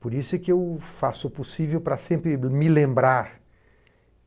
Por isso é que eu faço o possível para sempre me lembrar.